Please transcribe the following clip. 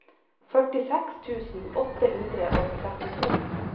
førtiseks tusen åtte hundre og trettito